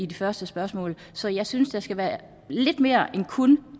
de første spørgsmål så jeg synes der skal være lidt mere end kun